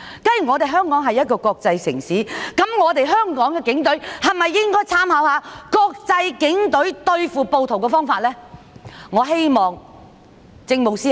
既然香港是國際城市，香港的警隊應否參考外國警隊對付暴徒的方法呢？